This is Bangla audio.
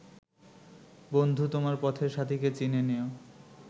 বন্ধু তোমার পথের সাথীকে চিনে নিও